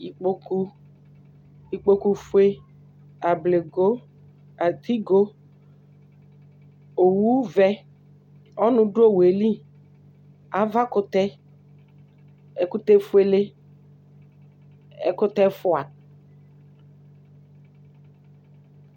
Ikpoku, ikpokufue, ablego, atigo, owuvɛ, ɔnʋ dʋ owu yɛ li, avakʋtɛ, ɛkʋtɛfuele, ɛkʋtɛ ɛfʋa